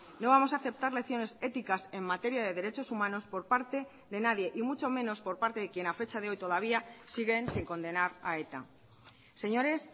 no vamos a aceptar lecciones éticas en materia de derechos humanos por parte de nadie y mucho menos por parte de quien ha fecha de hoy todavía siguen sin condenar a eta señores